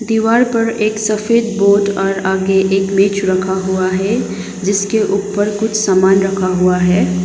दीवार पर एक सफेद बोर्ड और आगे एक मेज रखा हुआ है जिसके ऊपर कुछ समान रखा हुआ है।